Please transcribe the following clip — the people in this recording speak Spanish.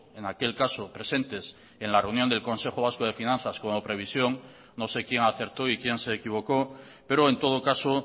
en aquel caso presentes en la reunión del consejo vasco de finanzas como previsión no sé quién acertó y quién se equivocó pero en todo caso